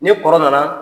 Ni kɔrɔ nana